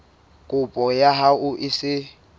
kopo ya hao e se